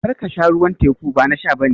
Kar ka sha ruwan teku, ba na sha ba ne